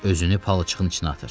Özünü palçığın içinə atır.